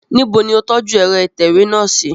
Nibo ni o tọju ẹrọ itẹwe náa si?